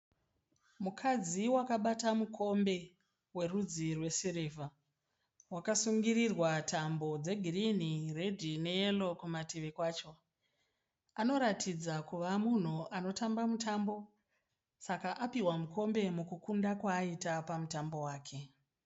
Mukadzi wakabata mukombe werudzi rwesirivha, wakasungirirwa tambo dzegirinhi, redhi neyero kumativi kwacho. Anoratidza kuva munhu anotamba mutambo, Saka apihwa mukombe mukukunda kwaaita pamutambo wake.